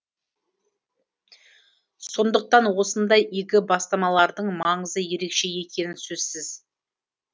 сондықтан осындай игі бастамалардың маңызы ерекше екені сөзсіз